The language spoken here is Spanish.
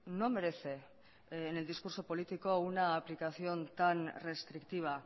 no merece en el discurso político una aplicación tan restrictiva